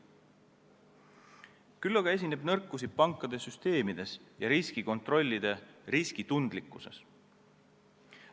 Küll aga esineb nõrku kohti pankade süsteemides ja riskikontrollide riskitundlikkuses.